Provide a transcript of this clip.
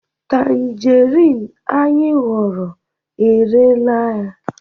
tangerine anyị huru, erela ua